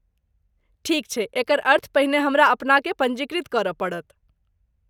ठीक छैक एकर अर्थ पहिने हमरा अपनाकेँ पञ्जीकृत करय पड़त।